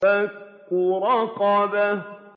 فَكُّ رَقَبَةٍ